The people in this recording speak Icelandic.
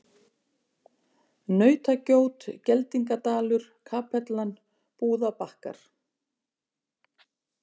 Nautagjót, Geldingadalur, Kapellan, Búðabakkar